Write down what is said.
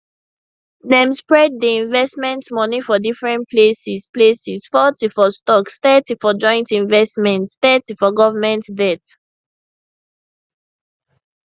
dem spread di investment money for different places places forty for stocks thirty for joint investments thirty for government debt